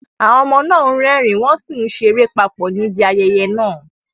Àwọn ọmọ náà ń rẹ́rìn-ín wọ́n sì ń ṣeré papọ̀ níbi ayẹyẹ náà.